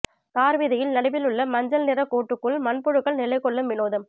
தார் வீதியில் நடுவில் உள்ள மஞ்சல் நிறக் கோட்டுக்குள் மண் புழுக்கள் நிலைகொள்ளும் வினோதம்